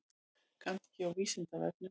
Kannski á Vísindavefnum?